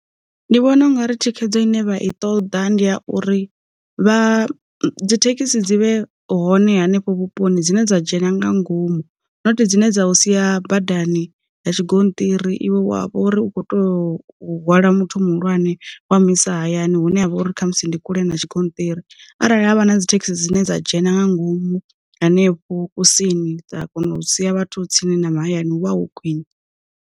Ndi vhona ungari thikhedzo ine vha i ṱoḓa ndi ya uri, vha dzithekhisi dzi vhe hone hanefho vhuponi dzine dza dzhena nga ngomu noti dzine dza u sia badani ya tshi gonṱiri tshiri iwe wavho uri u kho toyo u hwala muthu muhulwane wa mulisa hayani hune ha vha uri kha musi ndi kule na tshi gonṱiri, arali havha na dzithekhisi dzine dza dzhena nga ngomu henefho kusini dza kona u sia vhathu tsini na mahayani wa hu khwine.